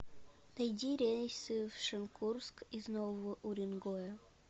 найди рейсы в шенкурск из нового уренгоя